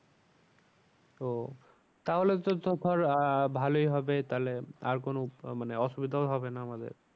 ও তাহলে তো ধর আহ ভালোই হবে তাহলে আর কোনো মানে অসুবিধাও হবে না আমাদের।